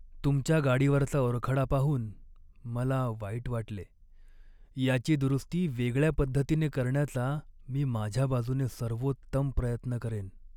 तुमच्या गाडीवरचा ओरखडा पाहून मला वाईट वाटले, याची दुरुस्ती वेगळ्या पद्धतीने करण्याचा मी माझ्या बाजूने सर्वोत्तम प्रयत्न करेन.